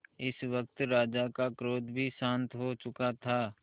इस वक्त राजा का क्रोध भी शांत हो चुका था